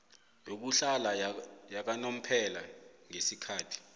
yokuhlala yakanomphela ngesikhathi